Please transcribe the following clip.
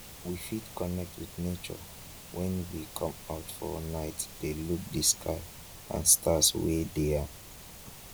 we fit connect with nature when we come out for night de look di sky and stars wey de am